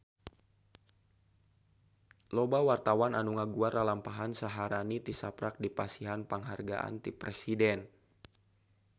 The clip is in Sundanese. Loba wartawan anu ngaguar lalampahan Syaharani tisaprak dipasihan panghargaan ti Presiden